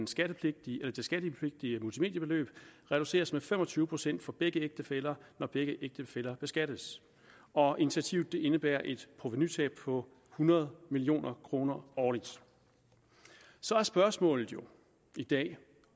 skattepligtige multimediebeløb reduceres med fem og tyve procent for begge ægtefæller når begge ægtefæller beskattes og initiativet indebærer et provenutab på hundrede million kroner årligt så er spørgsmålet jo i dag